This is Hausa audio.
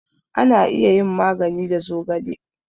Ana iya yin magani da zogale